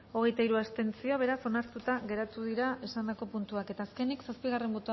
hogeita hiru abstentzio beraz onartuta geratu dira esandako puntuak eta azkenik